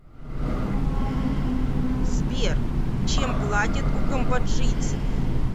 сбер чем платят у камбоджийцев